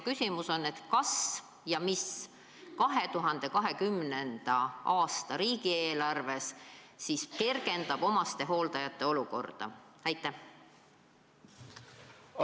Küsimus on, kas ja mis 2020. aasta riigieelarves kergendab omastehooldajate olukorda.